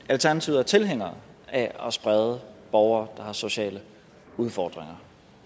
alternativet er tilhængere af at sprede borgere der har sociale udfordringer